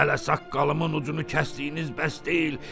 Hələ saqqalımın ucunu kəsdiyiniz bəs deyil.